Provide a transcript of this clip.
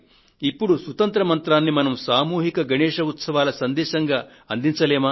ఇప్పుడు సుతంత్ర మంత్రాన్ని మనం సామూహిక గణేశ్ ఉత్సవాల సందేశంగా అందించలేమా